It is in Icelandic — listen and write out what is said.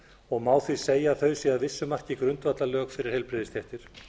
og má því segja að þau séu að vissu marki grundvallarlög fyrir heilbrigðisstéttir